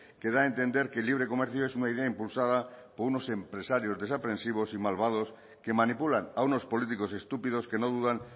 que da a entender que el libre comercio es una idea impulsada por unos empresarios desaprensivos y malvados que manipulan a unos políticos estúpidos que no dudan